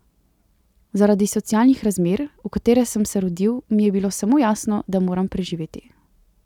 Zaradi socialnih razmer, v katere sem se rodil, mi je bilo samo jasno, da moram preživeti.